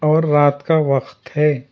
और रात का वक्त है।